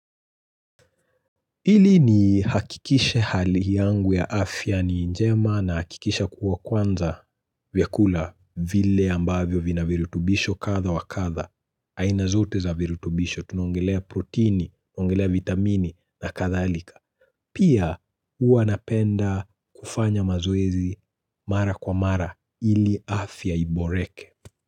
Ili nihakikishe hali yangu ya afya ni njema nahakikisha kuwa kwanza vyakula vile ambavyo vina virutubisho kadha wa kadha. Aina zote za virutubisho tunaongelea proteini, tunongelea vitamini na kadhalika. Pia huwa napenda kufanya mazoezi mara kwa mara hili afya iboreke.